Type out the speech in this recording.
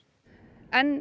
enn